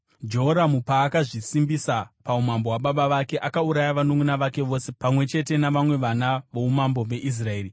Jehoramu paakazvisimbisa paumambo hwababa vake, akauraya vanunʼuna vake vose pamwe chete navamwe vana voumambo veIsraeri.